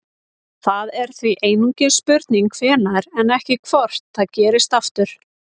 Það er því einungis spurning hvenær en ekki hvort gerist aftur.